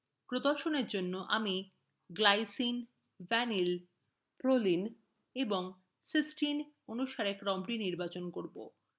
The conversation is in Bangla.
প্রদর্শনfor জন্য আমি glycine glyvaline valproline pro and cystine cys অনুসারে ক্রমটি নির্বাচন করবো